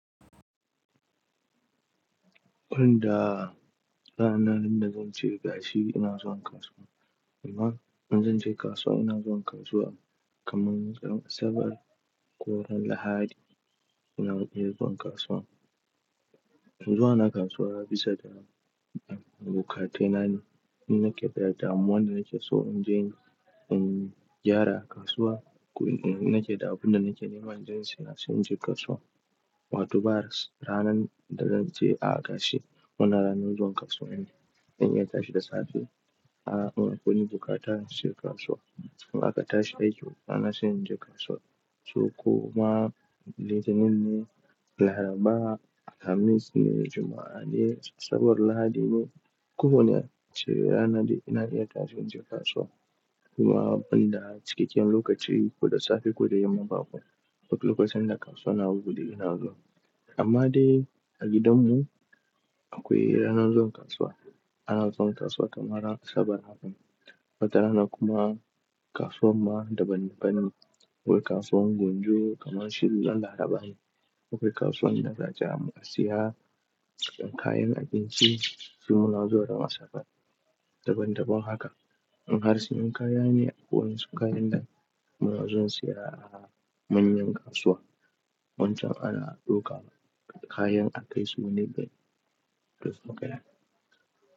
Wanda ranar da zan ce gashi ina zuwa kasuwa. Amma in zan je kasuwa ina zuwa kasuwa kamar ran asabar ko ran Lahadi ina iya zuwa kasuwa. Toh zuwa na kasuwa bisa da, um, bukatainane. In nake da damuwa da nake so in inje, in gyara a kasuwa ko in nake da abun da nake nema inje insiyasai in je kasuwa. Wato ba ranan da zan ce a gashi wanna ranar zuwa kasuwa ne. In iya tashi da safe, a, ina kowane bukata sai kasuwa. In a ka tashi a aiki, bana son in je kasuwa. Sukuma litinin ne, Laraba, Alhamis ne, Juma'a ne, Asabar, Lahadi ne, koh wanne shu ne ranan da ina iya tashi in je kasuwa. Kuma banda cikakken lokaci ko da safe ko da yamma babu. Duk lokacin da kasuwa na buɗe ina zuwa. Amma dai a gidanmu akwai ranan zuwan kasuwa. Ana zuwan kasuwa kamar ran Asabar, Lahadi. Wata rana kuma kasuwar ma daban daban ne. Akwai kasuwar Ngonjo kamar shi ran Laraba ne. Akwai kasuwan da za ja mu ka siya kayan abinci, shi muna zuwa da Asabar. Daban daban haka. In har sunyi kayane, akwai wasu kayan da muna zuwan siya a manyan kasuwa. Wancan ana dauka kayan a kai su ne dai duk makera.